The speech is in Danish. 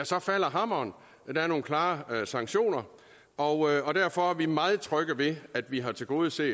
så falder hammeren der er nogle klare sanktioner og derfor er vi meget trygge ved at vi har tilgodeset